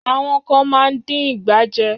Àwọn kán máa ń dín ìgbà jẹ.